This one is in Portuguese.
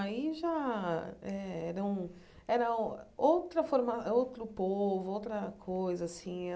Aí já eram era outra forma outro povo, outra coisa assim.